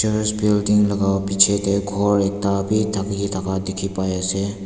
building laka bichi dae kor ekta bi taki taka diki pai asae.